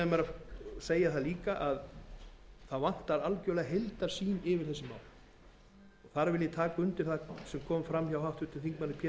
að segja að það vantar algerlega heildarsýn yfir þessi mál þar vil ég taka undir það sem kom fram hjá háttvirtum þingmanni pétri